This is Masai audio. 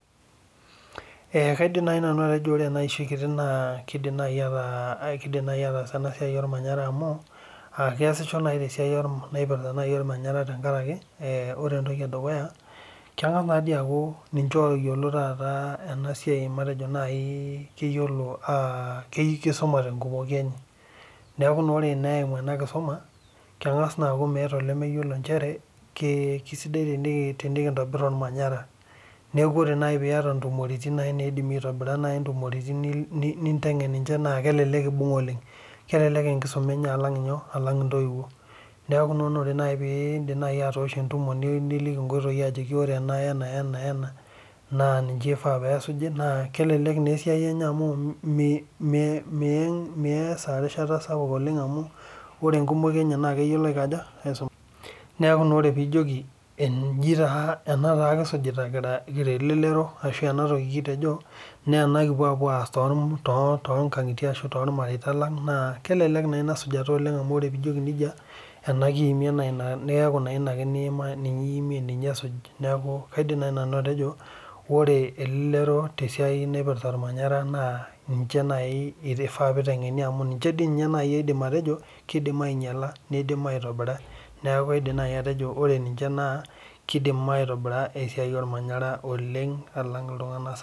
Ee kaidim nai atejo ore eiahoi kiti kidim ataas enasia ormanyara amu keasisho nai tesiai naipirta ormanyara tenkaraki keyiolo enasia amu kisumate enkumoi enye neaku ore eimu enakisuma meeta olemeyiolo ajo kesidai tenikintobir ele manyara neaku ore nai piata ntumoritin na kelelek intengen oleng kelelek enkisuma enye alang ntoiwuo neaku ore nai pindim atoosho entumo niliki ena wena wena na ninche ifaa pesuji na kelelek esiai enye amu ore enkumoi enye na keyiolo aisumata neaku enijoki ena taa kisujita Kira elelero na ena kipuo aas kira tormareita ashu to kangitie naa kelelek inasujata naa inaimie na ninye esuji neaku kaidim nanu atejo ore elelero tesiaia naipirta ormanyara na kifaa peitengeni amu ninche aidim atejo kidim ainyala nidim aitobira esiai ornyanyara oleng alang ltunganak sapukin.